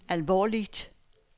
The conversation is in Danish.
alvorligt